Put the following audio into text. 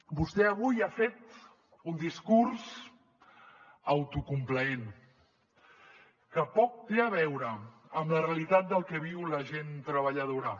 vostè avui ha fet un discurs autocomplaent que poc té a veure amb la realitat del que viu la gent treballadora